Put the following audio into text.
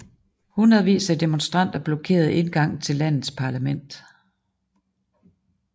Hundredvis af demonstranter blokerede indgangen til landets parlament